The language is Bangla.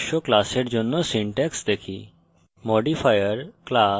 এখন প্রকাশ্য classes জন্য syntax দেখি